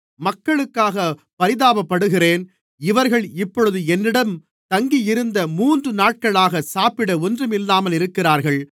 மக்களுக்காகப் பரிதாபப்படுகிறேன் இவர்கள் இப்பொழுது என்னிடம் தங்கியிருந்த மூன்றுநாட்களாகச் சாப்பிட ஒன்றுமில்லாமல் இருக்கிறார்கள்